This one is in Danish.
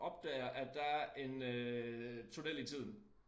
Opdager at der er en øh tunnel i tiden